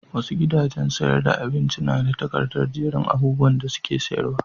Wasu gidajen sayar da abincin na da takardar jerin abubuwan da suke sayarwa.